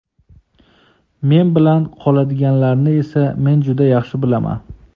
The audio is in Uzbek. Men bilan qoladiganlarni esa men juda yaxshi bilaman.